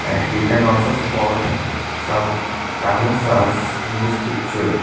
and we can also spot some kamosas in this picture.